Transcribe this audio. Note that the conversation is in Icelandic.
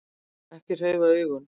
Ekki hreyfa augun.